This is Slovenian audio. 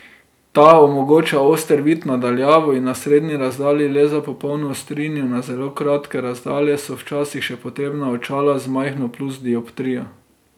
Ta omogoča oster vid na daljavo in na srednji razdalji, le za popolno ostrino na zelo kratke razdalje so včasih še potrebna očala z majhno plus dioptrijo.